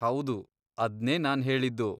ಹೌದು, ಅದ್ನೇ ನಾನ್ಹೇಳಿದ್ದು.